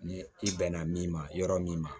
Ni i bɛnna min ma yɔrɔ min ma